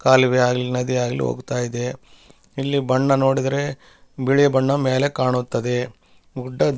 ಕಾಲುವೆ ಆಗ್ಲಿ ನದಿ ಆಗ್ಲಿ ಹೋಗ್ತಾ ಇದೆ ಇಲ್ಲಿ ಬಣ್ಣ ನೋಡಿದ್ರೆ ಬಿಳಿ ಬಣ್ಣ ಮೇಲೆ ಕಾಣುತ್ತದೆ ಗುಡ್ಡ --